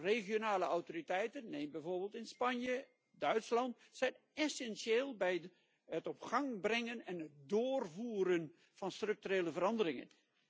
Regionale autoriteiten neem bijvoorbeeld in Spanje, Duitsland zijn essentieel bij het op gang brengen en het doorvoeren van structurele veranderingen.